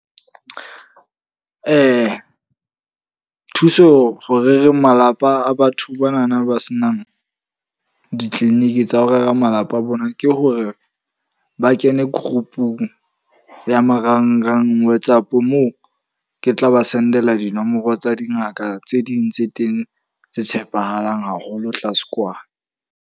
Thuso ho rereng malapa a batho ba na na ba se nang di-clinic tsa ho rera malapa a bona. Ke hore ba kene group-ung ya marangrang WhatsApp. Moo ke tla ba send-ela dinomoro tsa dingaka tse ding tse teng tse tshepahalang haholo tlase kwana.